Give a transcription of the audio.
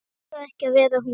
Langar ekki að vera hún.